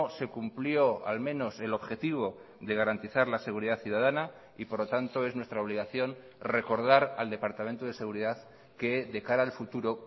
se cumplió al menos el objetivo de garantizar la seguridad ciudadana y por lo tanto es nuestra obligación recordar al departamento de seguridad que de cara al futuro